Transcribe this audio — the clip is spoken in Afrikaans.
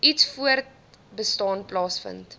iets voortbestaan plaasvind